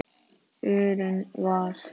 urinn var.